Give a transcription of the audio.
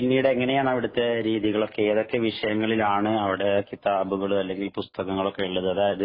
പിന്നീട് എങ്ങനെയാണ് അവിടുത്തെ രീതികളൊക്കെ ഏതൊക്കെ വിഷയങ്ങളിലാണ് അവിടെ കിതാബുകൾ അല്ലെങ്കിൽ പുസ്തകങ്ങൾ ഉള്ളത്